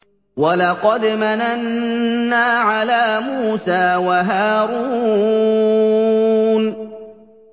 وَلَقَدْ مَنَنَّا عَلَىٰ مُوسَىٰ وَهَارُونَ